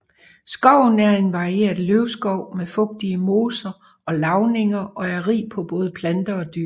Skoven er en varieret løvskov med fugtige moser og lavninger og er rig på både planter og dyr